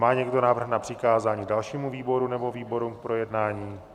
Má někdo návrh na přikázání dalšímu výboru nebo výborům k projednání?